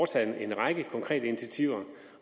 taget en række konkrete initiativer